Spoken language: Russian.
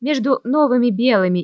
между новыми белыми